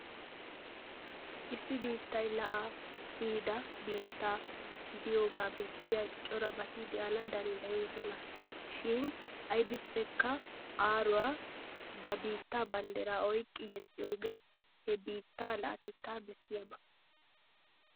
Issi biittay la'aa kiyida biitta gidiyogaa bessiya corabati de'ana danddayoosona. Shin aybippekka aaruwa ba biittaa banddira oyqqi yexxiyogee he biitta la'atettaa bessiyaba.